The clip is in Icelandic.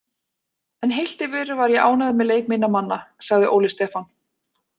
En heilt yfir var ég ánægður með leik minna manna, sagði Óli Stefán.